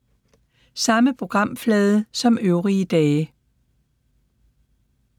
Samme programflade som øvrige dage